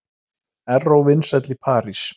Erró vinsæll í París